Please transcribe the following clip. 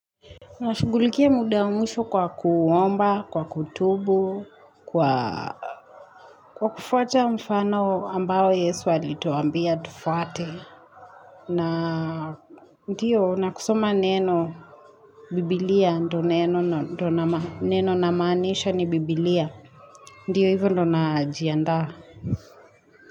Na shugulikia muda wa mwisho kwa kuomba, kwa kutubu, kwa Kwa kufuata mfano ambao yesu alituambia tufuate. Na Ndiyo nakusoma neno. Bibliia ndo neno namaanisha ni Bibilia. Ndiyo hivyo ndo najiandaa.